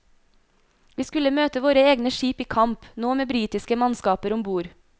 Vi skulle møte våre egne skip i kamp, nå med britiske mannskaper ombord.